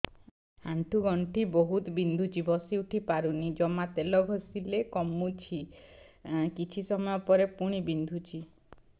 ଆଣ୍ଠୁଗଣ୍ଠି ବହୁତ ବିନ୍ଧୁଛି ବସିଉଠି ପାରୁନି ଜମା ତେଲ ଘଷିଲେ କମୁଛି କିଛି ସମୟ ପରେ ପୁଣି ବିନ୍ଧୁଛି